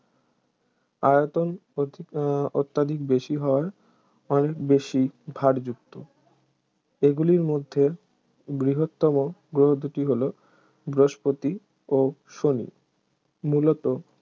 আয়তন অত্য~ অত্যধিক বেশি হওয়ায় অনেক বেশি ভারযুক্ত এগুলির মধ্যে বৃহত্তম গ্রহ দু’টি হল বৃহস্পতি ও শনি মূলত